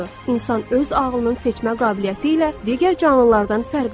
İnsan öz ağlının seçmə qabiliyyəti ilə digər canlılardan fərqlənir.